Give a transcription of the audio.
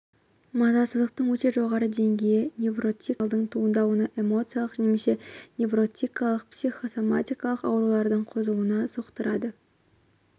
мазасыздықтың өте жоғары деңгейі невротикалық жанжалдың туындауына эмоциалық немесе невротикалық психосоматикалық аурулардың қозуына соқтырады